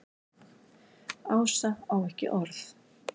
Ása á ekki orð.